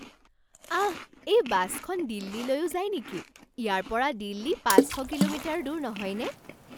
আহ! এই বাছখন দিল্লীলৈও যায় নেকি? ইয়াৰ পৰা দিল্লী পাঁচ শ কিলোমিটাৰ দূৰ নহয়নে?